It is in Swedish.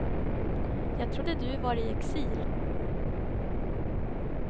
Jag trodde du var i exil.